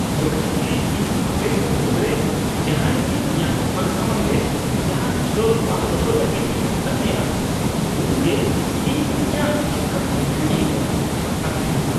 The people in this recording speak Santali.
ᱡᱚᱠᱷᱮᱡ ᱜᱮ ᱤᱧ ᱟᱯᱮᱠᱚ ᱢᱩᱫᱨᱮ ᱡᱟᱦᱟᱸᱭᱜᱮ ᱤᱧᱟᱹᱜ ᱫᱳᱠᱟᱱ ᱥᱟᱢᱟᱝ ᱨᱮ ᱡᱟᱦᱟᱱ ᱥᱴᱚᱞ ᱵᱟᱝ ᱫᱚᱦᱚ ᱞᱟᱹᱜᱤᱫ ᱤᱧ ᱢᱮᱛᱟ ᱯᱮᱭᱟ ,ᱩᱱᱜᱮ ᱤᱧ ᱤᱧᱟᱹᱜ ᱪᱮᱛᱟᱱ ᱦᱤᱨᱠᱟᱹᱧ ᱟᱹᱭᱠᱟᱹᱣᱟ ᱾ (ᱟᱠᱷᱨᱤᱧᱤᱭᱟᱹ)